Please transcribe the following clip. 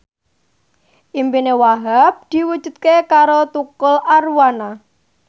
impine Wahhab diwujudke karo Tukul Arwana